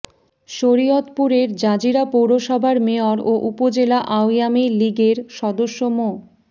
শরীয়তপুরের জাজিরা পৌরসভার মেয়র ও উপজেলা আওয়ামী লীগের সদস্য মো